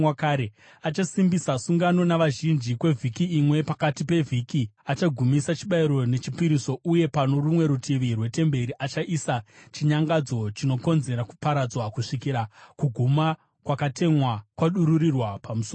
Achasimbisa sungano navazhinji kwevhiki imwe. Pakati pevhiki achagumisa chibayiro nechipiriso. Uye pano rumwe rutivi rwetemberi achaisa chinyangadzo chinokonzera kuparadzwa, kusvikira kuguma kwakatemwa kwadururirwa pamusoro pake.”